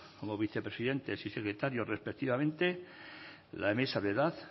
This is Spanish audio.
como vicepresidentes y secretarios respectivamente la mesa de edad